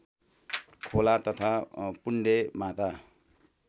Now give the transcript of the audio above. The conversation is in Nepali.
खोला तथा पुण्डेमाता